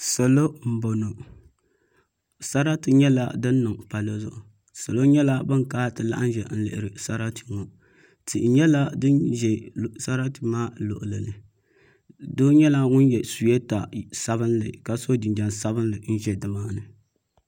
Salo n bɔŋɔ sarati nyɛla din niŋ palli zuɣu salo nyɛla bin kana ti laɣam ʒɛya n lihiri sarati ŋɔ tihi nyɛla din ʒɛ sarati maa luɣuli ni doo nyɛla ŋun yɛ suyeeta sabinli ka so jinjɛm sabinli n ʒɛ nimaani